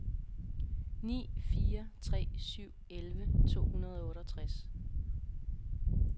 ni fire tre syv elleve to hundrede og otteogtres